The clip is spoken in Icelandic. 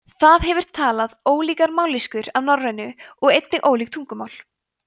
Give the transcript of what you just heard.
það hefur talað ólíkar mállýskur af norrænu og einnig ólík tungumál